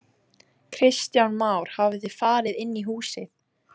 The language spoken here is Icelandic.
Kristján Már: Hafið þið farið inn í húsið?